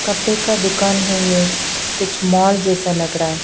कपड़े का दुकान है ये कुछ मॉल जैसा लगरा--